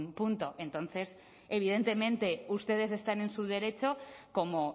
punto entonces evidentemente ustedes están en su derecho como